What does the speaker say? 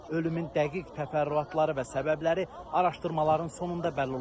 Ölümün dəqiq təfərrüatları və səbəbləri araşdırmaların sonunda bəlli olacaq.